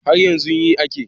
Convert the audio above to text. Haryanzun yi ake